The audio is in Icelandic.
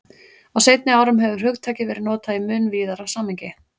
Á seinni árum hefur hugtakið verið notað í mun víðara samhengi.